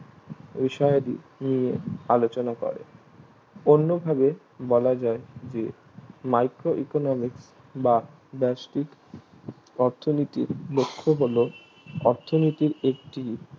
বিষয়াদি নিয়ে আলোচনা করে অন্যভাবে বলা যায় যে micro economics বা ব্যাস্টিক অর্থনীতির দক্ষ হলো অর্থনীতির একটি